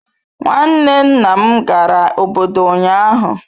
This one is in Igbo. Nwanne nna m gara obodo ụnyahụ.